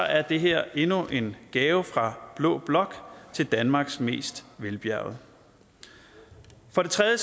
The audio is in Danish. er det her endnu en gave fra blå blok til danmarks mest velbjærgede for det tredje